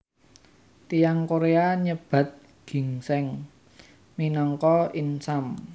Tiyang Korea nyebat ginsèng minangka insam